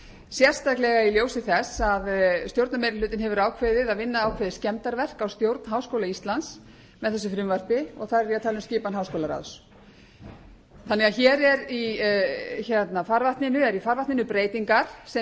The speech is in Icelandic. sérstaklega í ljósi þess að stjórnarmeirihlutinn hefur ákveðið að vinna ákveðið skemmdarverk á stjórn háskóla íslands með þessu frumvarpi og þar er ég að tala um skipan háskólaráðs hér eru í farvatninu breytingar sem